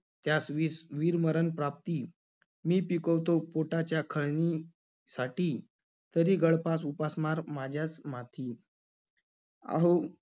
त्यास वीस~ वीरमरण प्राप्ती. मी पिकवतो पोटाच्या खळणी~ साठी, तरी गळफास उपासमार माझ्याच माथी. अहो